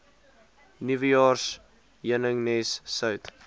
nuwejaars heuningnes sout